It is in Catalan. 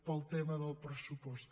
pel tema del pressupost